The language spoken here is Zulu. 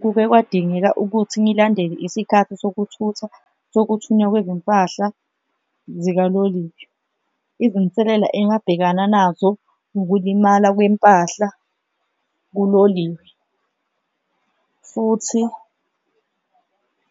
Kuke kwadingeka ukuthi ngilandele isikhathi sokuthutha sokuthunywa kwezimpahla zikaloliwe, izinselela engabhekana nazo ukulimala kwempahla kuloliwe, futhi